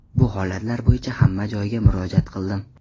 Bu holatlar bo‘yicha hamma joyga murojaat qildim.